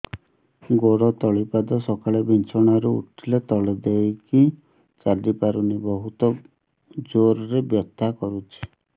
ଗୋଡ ତଳି ପାଦ ସକାଳେ ବିଛଣା ରୁ ଉଠିଲେ ତଳେ ଦେଇକି ଚାଲିହଉନି ବହୁତ ଜୋର ରେ ବଥା କରୁଛି